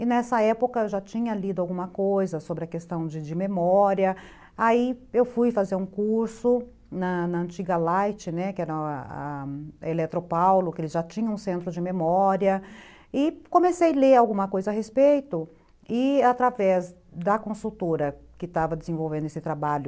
E nessa época eu já tinha lido alguma coisa sobre a questão de de memória, aí eu fui fazer um curso na na antiga Light, que era a Eletropaulo, que eles já tinham um centro de memória, e comecei a ler alguma coisa a respeito, e através da consultora que estava desenvolvendo esse trabalho,